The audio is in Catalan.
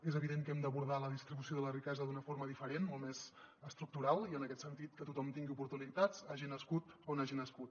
és evident que hem d’abordar la distribució de la riquesa d’una forma diferent molt més estructural i en aquest sentit que tothom tingui oportunitats hagi nascut on hagi nascut